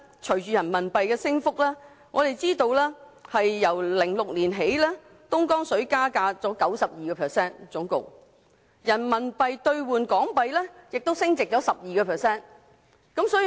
隨着人民幣不斷升值，由2006年起，人民幣兌港元升值 12%， 而香港購買東江水的價格升幅更達 92%。